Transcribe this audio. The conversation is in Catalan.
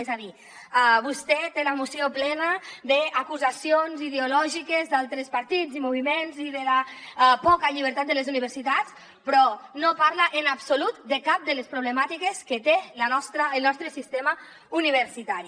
és a dir vostè té la moció plena d’acusacions ideològiques d’altres partits i moviments i de la poca llibertat de les universitats però no parla en absolut de cap de les problemàtiques que té el nostre sistema universitari